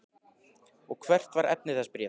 Og hvert var efni þess bréfs?